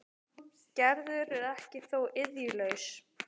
Gerður er þó ekki iðjulaus.